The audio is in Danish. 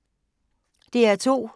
DR2